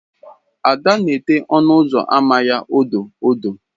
Ada na ete ọnụ ụzọ ámá ya odo odo.